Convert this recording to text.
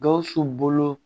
Gawusu bolo